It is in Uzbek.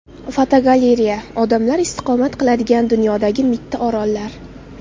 Fotogalereya: Odamlar istiqomat qiladigan dunyodagi mitti orollar.